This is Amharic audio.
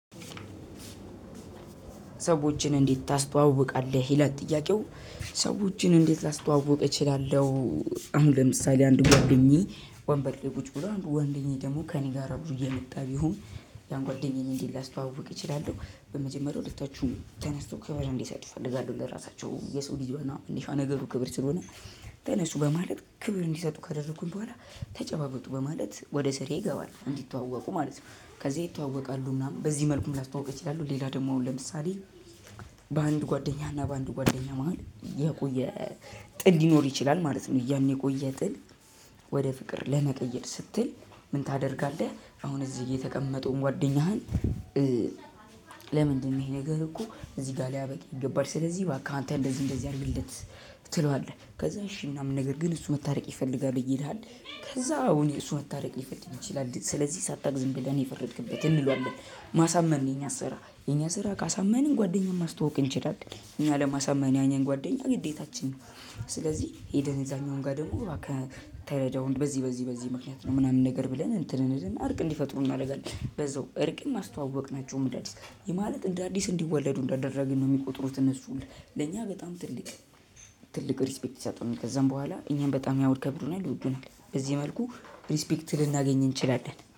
ሰዎችን እንዴት ታስተዋውቃለህ ይላል ጥያቄው ሰዎችን እንዴት ላስዋውቅ እችላለው። አሁን ለምሳሌ አንዱ ጓደኛዬ ወንበር ላይ ቁጭ ብሎ አንዱ ጓደኛዬ ደግሞ ከኔ ጋር አብሮ እየመጣ ቢሆን ያን ጓደኛዬን እንዴት ላስተዋውቅ እችላለው በመጀመሪያ ሁለታቹም ተነስቶ ክብር እንዲሰጥ እፈልጋለው ለራሳቸው የሰው ልጅ ዋና ነገሩ ክብር ስለሆነ ተነሱ በማለት ክብር እንዲሰጡ ካደረኩኝ በኋላ ተጨባበጡ በማለት ወደ ስራዬ እገባለው እንዲተዋወቁ ማለት ነው። ከዚያ ይታወቃሉ ምናምን በዚህ መልኩ ላስታውቅ እችላለው። ሌላ ደግሞ አሁን ለምሳሌ በአንድ ጓደኛ እና በአንድ ጓደኛ መሃል የቆየ ጥል ሊኖር ይችላል ማለት ነው። ያን የቆየ ጥል ወደ ፍቅር ለመቀየር ስትል ምን ታደርጋለህ? አሁን እዚህ የተቀመጠውን ጓደኛህን ለምንድነው ይሄ ነገር እኮ እዚህ ጋር ሊያበቃ ይገባል ስለዚህ እባክህ አንተ እንደዚህ እንደዚህ አድርግለት። ትለዋለህ ከዛ እሺ ምናምን ነገር ግን እሱ መታረቅ ይፈልጋል ይልሃል። ከዛ አው እሱ መታረቅ ሊፈልግ ይችላል ስለዚህ ሳታቅ ዝም ብለህ ነው የፈረድክበት እንለዋለን። ማሳመን ነው የኛ ስራ የኛ ስራ ካሳመንን ጓደኛን ማስተዋወቅ እንችላለን እኛ ለማሳመን የኛን ጓደኛ ግዴታችን ነው። ስለዚህ ሄደን እዛኛውም ጋ ደግሞ እባክህ ተረዳው በዚህ በዚህ በዚህ ምክንያት ነው ምናምን ነገር ብለን እንትን እንልና እርቅ እንዲፈጥሩ እናደርጋለን። በዛው እርቅም አስተዋወቅናቸው እንደ አዲስ ያ ማለት እንደ አዲስ እንዲወለዱ እንዳደረግን ነው የሚቆጥሩት እነሱ። ለኛ በጣም ትልቅ ትልቅ ሪስፔክት ይሰጡናል ከዛም በኋላ እኛን በጣም ያከበሩናል ይወዱናል በዚህ መልኩ። ሪስፔክት ልናገኝ እንችላለን